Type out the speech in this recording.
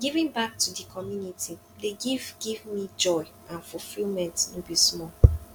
giving back to di community dey give give me joy and fulfillment no be small